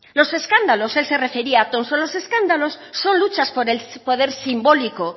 los escándalos él se refería son luchas por el poder simbólico